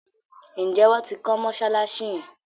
Njé wón tí kò Mossalassi yén?